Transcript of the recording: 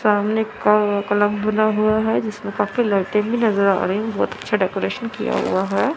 सामने क क्लब बना हुआ है जिसमें काफी लाइटे भी नजर आ रही हैं काफी अच्छा डेकोरेशन किया हुआ है।